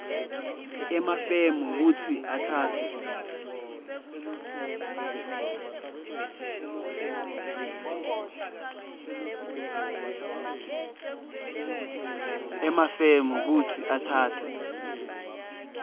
emafemu kutsi atsatse